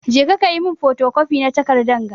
Je ka yi min fotocopi na takardan ga!